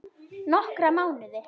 Nokkra mánuði?